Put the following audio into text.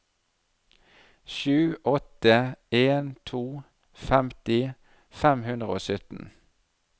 sju åtte en to femti fem hundre og sytten